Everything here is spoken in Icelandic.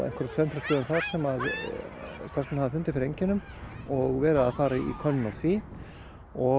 tveim þrem stöðum þar sem starfsmenn hafa fundið fyrir einkennum og verið að fara í könnun á því og